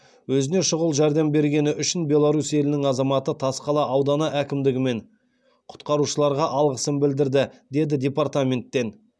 өзіне шұғыл жәрдем бергені үшін беларусь елінің азаматы тасқала ауданы әкімдігі мен құтқарушыларға алғысын білдірді деді департаменттен